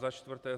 Za čtvrté.